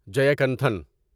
Jayakanthan